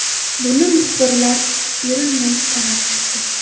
Buni muxbirlar erinmay sanab chiqdi.